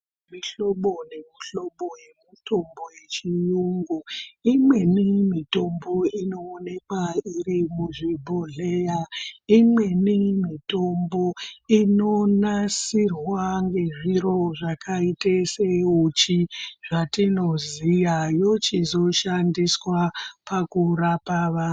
Mihlobo nemihlobo yemitombo yechiyungu, imweni mitombo inoonekwa iri muzvibhodhlera, imweni mitombo inonasirwa ngezviro zvakaite seuchi zvatinoziya, yozoshandiswa kurapa vantu.